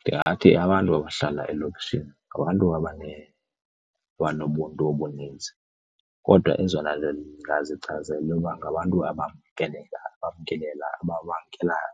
Ndingathi abantu abahlala elokishini ngabantu abanobuntu obunintsi kodwa ezona ndingalichaza yile yoba ngabantu abamkelekayo, abantu aba bamkelayo,